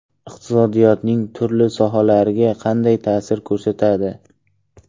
Iqtisodiyotning turli sohalariga qanday ta’sir ko‘rsatadi?